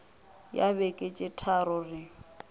ya beke tše tharo re